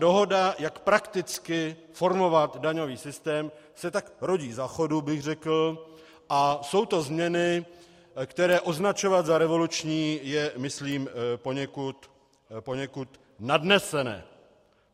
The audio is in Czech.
Dohoda, jak prakticky formovat daňový systém, se tak rodí za chodu, bych řekl, a jsou to změny, které označovat za revoluční je, myslím, poněkud nadnesené.